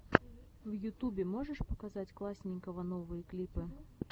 в ютубе можешь показать классненького новые клипы